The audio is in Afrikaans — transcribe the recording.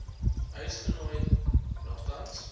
huis genooi nogtans